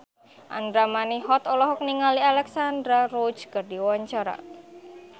Andra Manihot olohok ningali Alexandra Roach keur diwawancara